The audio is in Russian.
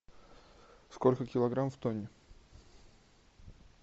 сколько килограмм в тонне